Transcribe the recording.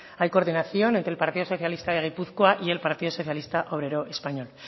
hay coordinación entre el partido socialista de gipuzkoa y el partido socialista obrero español